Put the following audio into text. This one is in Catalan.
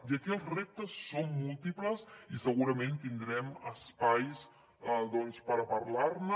i aquí els reptes són múltiples i segurament tindrem espais per parlar ne